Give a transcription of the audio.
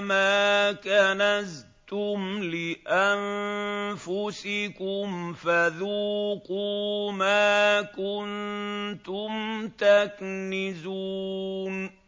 مَا كَنَزْتُمْ لِأَنفُسِكُمْ فَذُوقُوا مَا كُنتُمْ تَكْنِزُونَ